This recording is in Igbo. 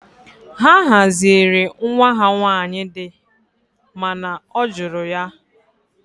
Ha haziere nwa ha nwanyị di mana ọ jụrụ ya